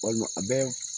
Walima a bɛ